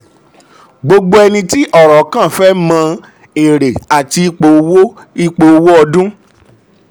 gbogbo ẹni tí ọ̀rọ̀ kàn fẹ́ mọ èrè àti ipò owó ipò owó ọdún.